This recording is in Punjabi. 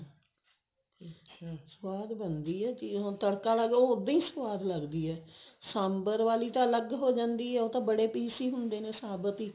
ਅਕਛਾ ਸਵਾਦ ਬਣਦੀ ਹੈ ਤੜਕਾ ਲਾ ਕੇ ਉਹ ਉੱਦਾਂ ਹੀ ਸਵਾਦ ਲੱਗਦੀ ਹੈ ਸਾਂਬਰ ਵਾਲੀ ਤਾਂ ਅਲੱਗ ਹੋ ਜਾਂਦੀ ਹੈ ਉਹ ਤਾਂ ਬੜੇ piece ਹੀ ਹੁੰਦੇ ਨੇ ਸਾਬਤ ਹੀ